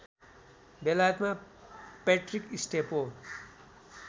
बेलायतमा पैट्रिक स्टेपो